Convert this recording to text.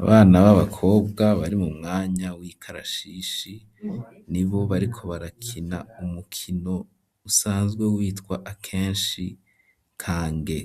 Abana b'abakobwa bari mu mwanya w'ikarashishi, ni bo bariko barakina umukino usanzwe witwa akenshi "kange",